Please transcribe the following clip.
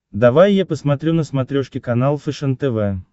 давай я посмотрю на смотрешке канал фэшен тв